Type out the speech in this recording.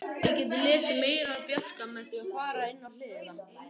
Þið getið lesið meira um Bjarka með því að fara í hina hliðina.